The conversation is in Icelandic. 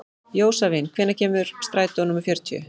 Jósavin, hvenær kemur strætó númer fjörutíu?